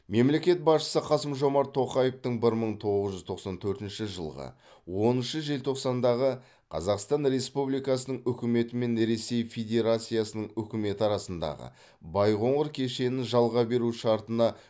мемлекет басшысы қасым жомарт тоқаевтың бір мың тоғыз жүз тоқсан төртінші жылғы оныншы желтоқсандағы қазақстан республикасының үкіметі мен ресей федерациясының үкіметі арасындағы байқоңыр кешенін жалға беру шартына